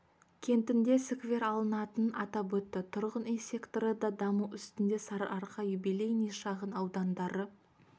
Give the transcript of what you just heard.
кентінде сквер салынатынын атап өтті тұрғын үй секторы да даму үстінде сарыарқа юбилейный шағын аудандары